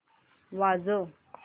वाजव